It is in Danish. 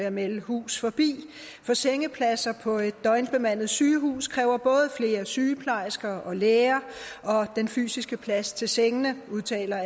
jeg melde hus forbi for sengepladser på et døgnbemandet sygehus kræver både flere sygeplejersker og læger og den fysiske plads til sengene det udtaler